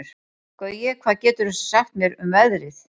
Gaui, hvað geturðu sagt mér um veðrið?